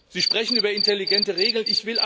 Sie sprechen über intelligente Regeln.